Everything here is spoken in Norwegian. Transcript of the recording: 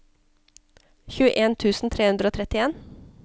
tjueen tusen tre hundre og trettien